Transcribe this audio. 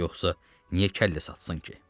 Yoxsa niyə kəllə satsın ki?